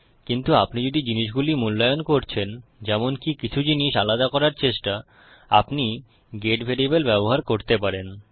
কিন্তু আপনি যদি জিনিসগুলি মূল্যায়ন করছেনযেমনকি কিছু জিনিস আলাদা করার চেষ্টাআপনি গেট ভ্যারিয়েবল ব্যবহার করতে পারেন